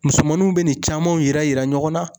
Musomaninw bɛ nin camanw yira yira ɲɔgɔn na.